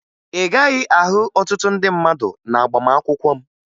Ị gaghị ahụ ọtụtụ ndị mmadụ n'agbamakwụkwọ m